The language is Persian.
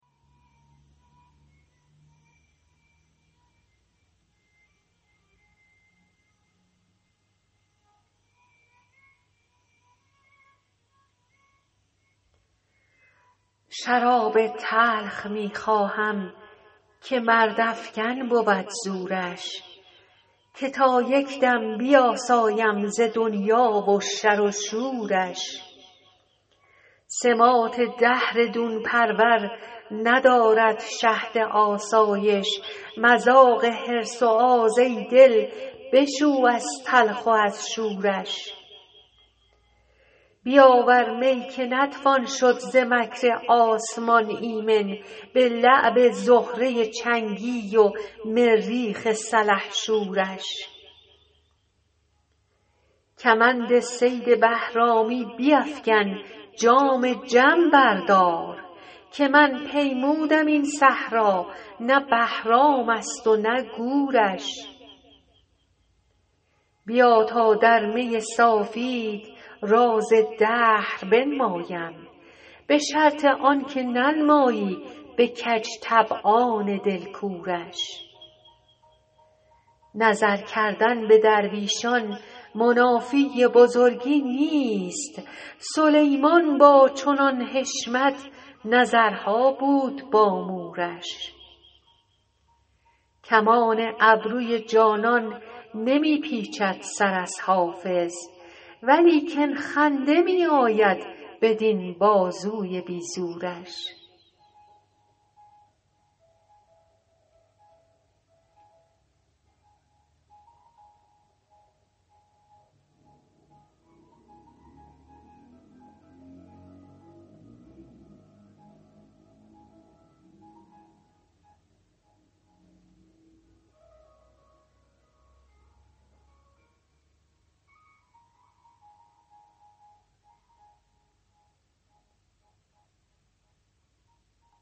شراب تلخ می خواهم که مردافکن بود زورش که تا یک دم بیاسایم ز دنیا و شر و شورش سماط دهر دون پرور ندارد شهد آسایش مذاق حرص و آز ای دل بشو از تلخ و از شورش بیاور می که نتوان شد ز مکر آسمان ایمن به لعب زهره چنگی و مریخ سلحشورش کمند صید بهرامی بیفکن جام جم بردار که من پیمودم این صحرا نه بهرام است و نه گورش بیا تا در می صافیت راز دهر بنمایم به شرط آن که ننمایی به کج طبعان دل کورش نظر کردن به درویشان منافی بزرگی نیست سلیمان با چنان حشمت نظرها بود با مورش کمان ابروی جانان نمی پیچد سر از حافظ ولیکن خنده می آید بدین بازوی بی زورش